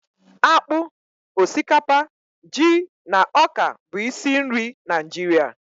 Akpụ, osikapa, ji na ọka bụ isi nri Naịjirịa